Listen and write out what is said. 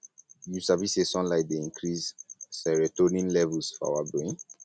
you sabi sey sunlight dey increase serotonin levels for our brain